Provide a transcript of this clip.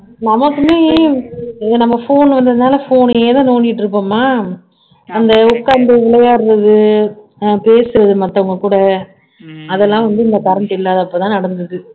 நமக்குமே இங்க நம்ம phone வந்ததுனால phone ஏதா நோண்டிட்டு இருப்போமா அந்த உட்காந்து விளையாடறது பேசுறது மத்தவங்க கூட அதெல்லாம் வந்து இந்த current இல்லாதப்பதான் நடந்தது